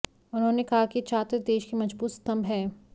उन्होंने कहा कि छात्र देश के मजबूत स्तंभ हैं